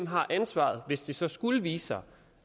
har ansvaret hvis det så skulle vise sig